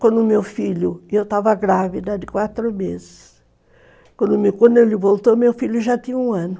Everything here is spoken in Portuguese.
Quando o meu filho, eu estava grávida de quatro meses, quando ele voltou, meu filho já tinha um ano.